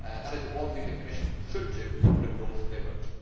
That is the one thing the Commission should do, but of course they will not.